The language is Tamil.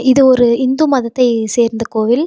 இது ஒரு இந்து மதத்தை சேர்ந்த கோவில்.